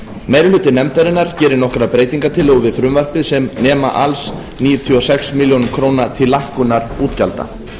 meiri hluti nefndarinnar gerir nokkrar breytingartillögur við frumvarpið sem nema alls níutíu og sex milljónir króna til lækkunar útgjalda